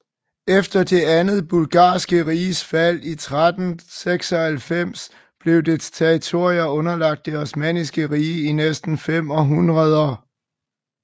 Efter det andet Bulgarske Riges fald i 1396 blev dets territorier underlagt det Osmanniske Rige i næsten fem århundreder